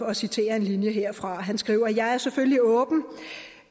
at citere en linje derfra han skriver jeg er selvfølgelig åben